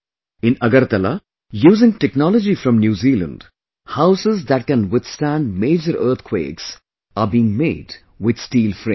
In Agartala, using technology from New Zealand, houses that can withstand major earthquakes are being made with steel frame